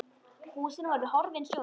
Húsin voru horfin sjónum.